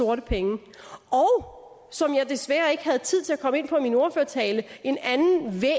sorte penge og så jeg desværre ikke tid til at komme ind på i min ordførertale en anden